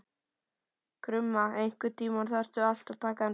Krumma, einhvern tímann þarf allt að taka enda.